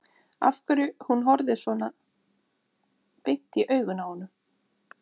Af hverju hún horfði svona beint inn í augun á honum.